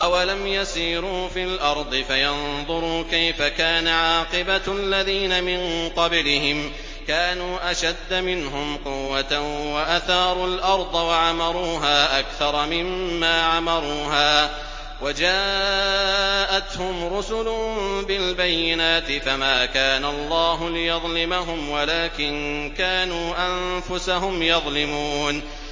أَوَلَمْ يَسِيرُوا فِي الْأَرْضِ فَيَنظُرُوا كَيْفَ كَانَ عَاقِبَةُ الَّذِينَ مِن قَبْلِهِمْ ۚ كَانُوا أَشَدَّ مِنْهُمْ قُوَّةً وَأَثَارُوا الْأَرْضَ وَعَمَرُوهَا أَكْثَرَ مِمَّا عَمَرُوهَا وَجَاءَتْهُمْ رُسُلُهُم بِالْبَيِّنَاتِ ۖ فَمَا كَانَ اللَّهُ لِيَظْلِمَهُمْ وَلَٰكِن كَانُوا أَنفُسَهُمْ يَظْلِمُونَ